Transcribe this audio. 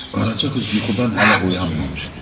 Qaraca qız yuxudan hələ oyanmamışdı.